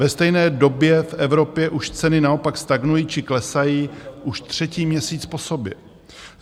Ve stejné době v Evropě už ceny naopak stagnují či klesají už třetí měsíc po sobě.